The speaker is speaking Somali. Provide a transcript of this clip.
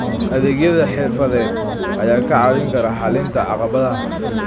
Adeegyada xirfadeed ayaa kaa caawin kara xallinta caqabadaha.